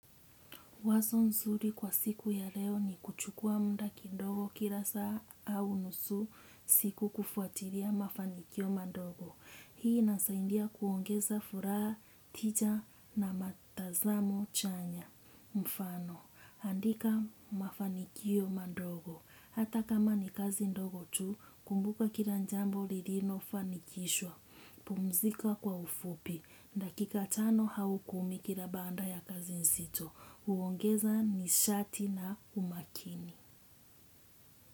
Wazo nzuri kwa siku ya leo ni kuchukua mda kidogo kila saa au nusu siku kufuatilia mafanikio madogo. Hii ina saidia kuongeza furaha tija na matazamo chanya. Mfano, andika mafanikio madogo. Hata kama ni kazi ndogo tu, kumbuka kila jambo lilio fanikishwa. Pumzika kwa ufupi. Dakika tano au kumi kila baada ya kazi nzito. Huongeza nishati na umakini.